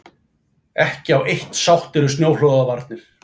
Ekki á eitt sáttir um snjóflóðavarnir